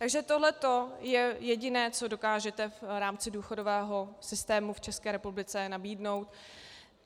Takže tohleto je jediné, co dokážete v rámci důchodového systému v České republice nabídnout.